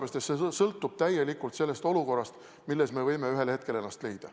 See sõltub täielikult olukordadest, milles me võime ühel hetkel ennast leida.